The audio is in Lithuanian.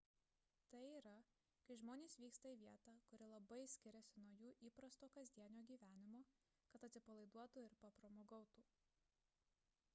tai yra kai žmonės vyksta į vietą kuri labai skiriasi nuo jų įprasto kasdienio gyvenimo kad atsipalaiduotų ir papramogautų